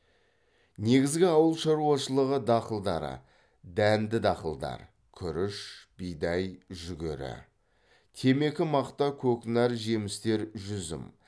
негізгі ауыл шаруашылығы дақылдары дәнді дақылдар күріш бидай жүгері темекі мақта көкнәр жемістер жүзім